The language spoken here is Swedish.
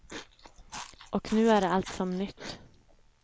Och nu är allt som nytt.